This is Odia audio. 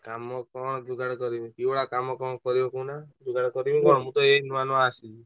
କାମ କଣ ଯୁଗାଡ କରିବି କି ଭଳିଆ କାମ କଣ କରିବ କହୁନ ଯୁଗାଡ କରିବି କଣ ମୁଁ ତୋ ଏଇ ନୂଆ ନୂଆ ଆସିଲି।